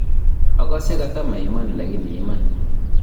akase kata maiman lakini iman.